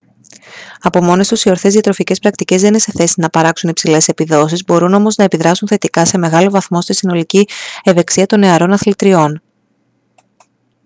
από μόνες τους οι ορθές διατροφικές πρακτικές δεν είναι σε θέση να παράξουν υψηλές επιδόσεις μπορούν όμως να επιδράσουν θετικά σε μεγάλο βαθμό στη συνολική ευεξία των νεαρών αθλητριών